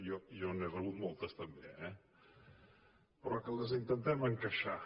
jo n’he rebut moltes també eh però que les intentem encaixar